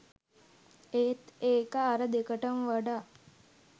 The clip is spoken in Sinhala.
ඒත් ඒක අර දෙකටම වඩා